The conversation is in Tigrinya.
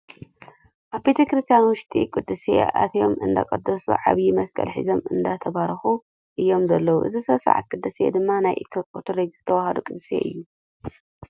ኣብ ቤተ-ክርስትያን ውሽጢ ቅዳሴ ኣትዮም እንዳቀደሱ ዓብይ መስቀል ሒዞም እነዳተባረኹ እዮም ዘለው። እዚ ስነ-ስርዓት ቅዳሴ ድማ ናይ ኦርቶዶክስ ተዋህዶ ቅዳሴ እዩ።